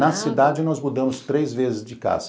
Na cidade nós mudamos três vezes de casa.